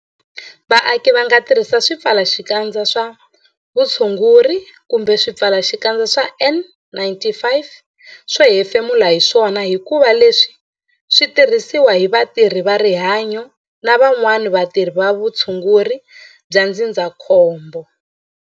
Vaaki va nga tirhisi swipfalaxikandza swa vutshunguri kumbe swipfalaxikandza swa N-95 swo hefemula hi swona hikuva leswi swi tirhisiwa hi vatirhi va rihanyo na van'wana vatirhi va vutshunguri bya ndzindzakhombo.